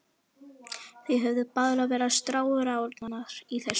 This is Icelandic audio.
Þær höfðu báðar verið staðráðnar í þessu.